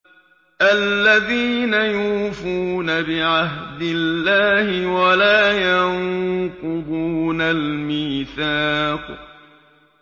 الَّذِينَ يُوفُونَ بِعَهْدِ اللَّهِ وَلَا يَنقُضُونَ الْمِيثَاقَ